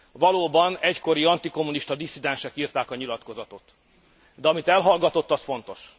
Valóban egykori antikommunista disszidensek írták a nyilatkozatot, de amit elhallgatott, az fontos.